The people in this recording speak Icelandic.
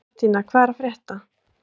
Mattína, hvað er að frétta?